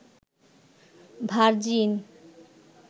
virgin